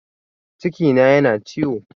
Cikina yana ciwo